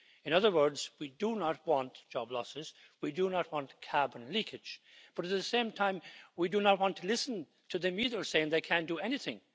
In other words, we do not want job losses, we do not want carbon leakage, but at the same time, we do not want to listen to them either saying they can't do anything.